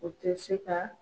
O tɛ se ka